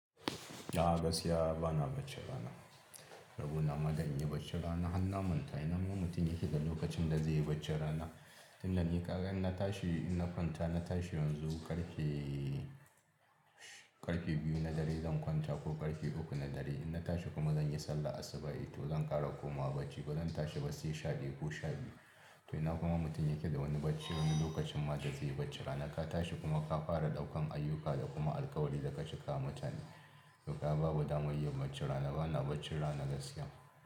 A'a gaskiya bana baccin rana. Rabona ma da inyi baccin rana hanna mantai. Ina min mutum yake da lokacin da zai yi baccin rana. Inda ni ka ga in na tashi, in na kwanta na tashi yanzu, ƙarfe, ƙarfe biyu na dare zan kwanta ko ƙarfe uku na dare. In na tashi kuma zan yi sallah asubahin to zan ƙara komawa bacci ba zan tashi bas yi sha biyu ko sha biyu. To ina kuma mutum yake da wani bacci wani lokacin ma da zai yi baccin rana. Ka tashi kuma ka fara ɗaukan ayyuka da kuma alkawari da ka cika wa mutane. To ka babu damar yin baccin rana bana baccin rana gaskiya.